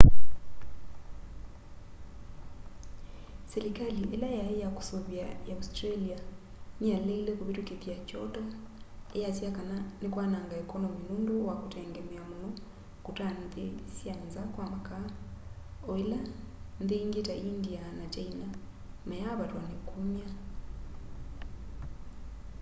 silikali ila yai ya kusuvia ya australia niyaleile kuvitukithya kyoto iyasya kana nikwananga ekonomi nundu wa kutengemea muno kuta nthi sya nza kwa makaa o ila nthi ingi ta india na kyaina mayaavatwa ni kumya